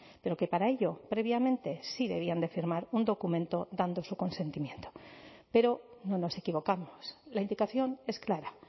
pero que para ello previamente sí debían de firmar un documento dando su consentimiento pero no nos equivocamos la indicación es clara